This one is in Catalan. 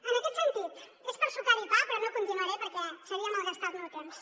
en aquest sentit és per sucar hi pa però no continuaré perquè seria malgastar el meu temps